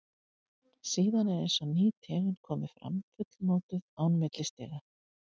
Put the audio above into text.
Síðan er eins og ný tegund komi fram, fullmótuð, án millistiga.